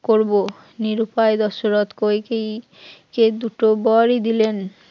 করব, নিরুপায় দশরথ কইকেয়ীই কে দুটো বরি দিলেন